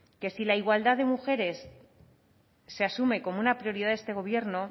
que si la igualdad de mujeres se asume como una prioridad de este gobierno